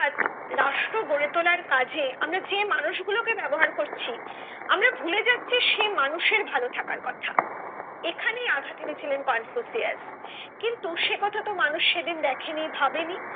রাষ্ট্র গড়ে তোলার কাজে আমরা যে মানুষ গুলো কে ব্যাবহার করছি আমরা ভুলে যাচ্ছি সে মানুষের ভালো থাকার কথা এখানে আঘাত এনেছিলেন কনফুসিয়াস কিন্তু সে কথা তো মানুষ সেদিন দেখেনি ভাবেনি।